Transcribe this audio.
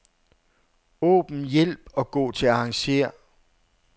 Åbn hjælp og gå til arrangér.